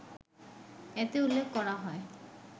এতে উল্লেখ করা হয়